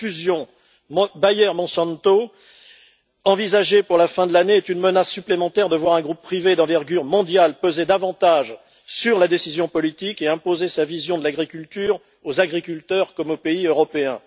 La fusion Bayer Monsanto, envisagée pour la fin de l'année, est une menace supplémentaire de voir un groupe privé et d'envergure mondiale peser davantage sur la décision politique et imposer sa vision de l'agriculture aux agriculteurs, comme aux pays européens.